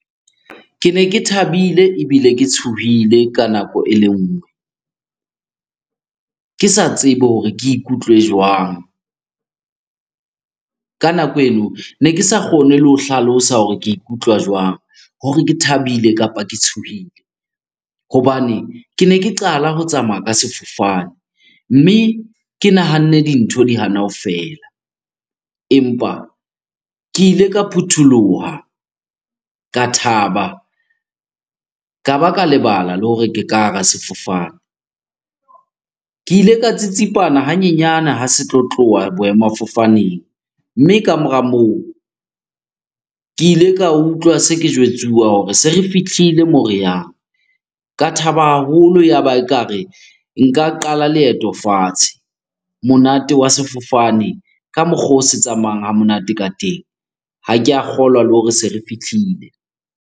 Kene ke thabile ebile ke tshohile ka nako e le nngwe. Ke sa tsebe hore ke ikutlwe jwang? Ka nako eno ne ke sa kgone le ho hlalosa hore ke ikutlwa jwang? Hore ke thabile kapa ke tshohile. Hobane kene ke qala ho tsamaya ka sefofane mme ke nahanne dintho di hana ho fela. Empa ke ile ka phutholoha, ka thaba, ka ba ka lebala le hore ke ka hara sefofane. Ke ile ka tsitsipane hanyenyane ha se tlo tloha boemafofaneng, mme ka mora moo ke ile ka utlwa se ke jwetsuwa hore se re fihlile moo re yang. Ka thaba haholo, ya ba ekare nka qala leeto fatshe. Monate wa sefofane ka mokgwa oo se tsamayang ha monate ka teng, ha ke a kgolwa le hore se re fihlile.